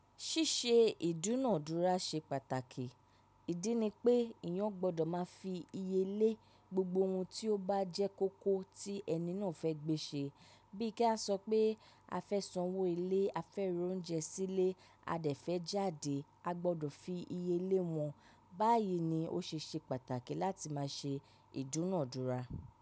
Ṣíṣe ìdúnàádúrà ṣe pàtàkì. Ìdí ni pé eeyàn gbọ́dọ̀ máa fi iye lé gbogbo ohun tí ó bá jẹ́ kókó tí ẹni náà fẹ́ gbé ṣe. Bí ki a sọ pé a fẹ́ sanwó ilé, a fẹ́ ra oúnjẹ sílé, a dẹ̀ fẹ́ jáde, a gbọ́dọ̀ fi iye lé wọn. Báyìí ni ó ṣe ṣe pàtàkì láti máa ṣe ìdúnàádúrà.